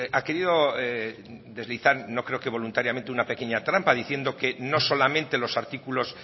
ha querido deslizar no creo que voluntariamente una pequeña trampa diciendo que no solamente los artículos